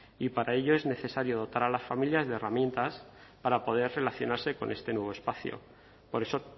y para ello es necesario dotar a las familias de herramientas para poder relacionarse con este nuevo espacio por eso